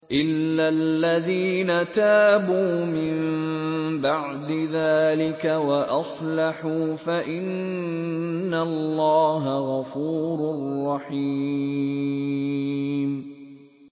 إِلَّا الَّذِينَ تَابُوا مِن بَعْدِ ذَٰلِكَ وَأَصْلَحُوا فَإِنَّ اللَّهَ غَفُورٌ رَّحِيمٌ